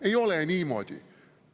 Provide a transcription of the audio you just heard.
Ei ole niimoodi!